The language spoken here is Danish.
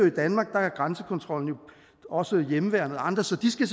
i danmark er grænsekontrollen også hjemmeværnet og andre så de skal